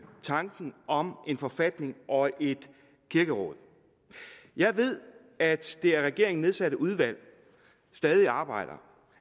tanken om en forfatning og et kirkeråd jeg ved at det af regeringen nedsatte udvalg stadig arbejder